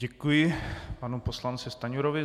Děkuji panu poslanci Stanjurovi.